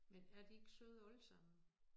Men er de ikke søde alle sammen?